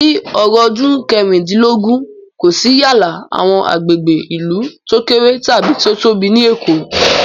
Ni ọ̀rúndún kẹrìndínlógún, kò sí yálà àwọn agbègbè ìlú tó kéré tàbí tó tóbi ní Èkó